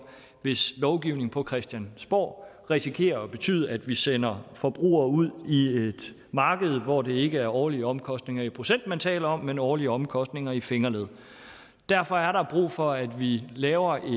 hvis lovgivning på christiansborg risikerer at betyde at vi sender forbrugere ud i et marked hvor det ikke er årlige omkostninger i procent man taler om men årlige omkostninger i fingerled derfor er der brug for at vi laver en